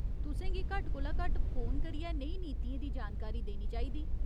तुसें गी घट्ट कोला घट्ट फोन करियै नेही नीतियें दी जानकारी देनी चाहिदी।